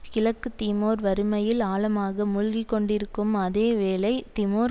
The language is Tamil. கிழக்கு திமோர் வறுமையில் ஆழமாக மூழ்கிக்கொண்டிருக்கும் அதேவேளை திமோர்